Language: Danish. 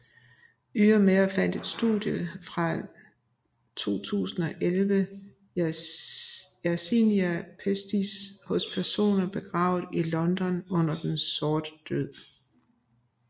Ydermere fandt et studie fra 2011 Yersinia pestis hos personer begravet i London under Den sorte død